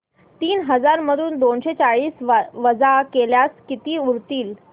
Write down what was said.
तीन हजार मधून दोनशे चाळीस वजा केल्यास किती उरतील